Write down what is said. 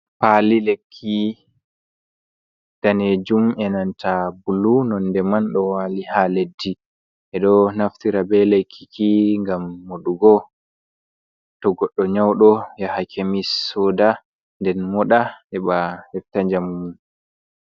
Pali lekki danejuum e nanta bulu nonde man, ɗo wali ha leddi e do naftira be lekkiki gam moɗugo, to godɗo nyauɗo yaha kemis soda den moɗa heba hefta jamu.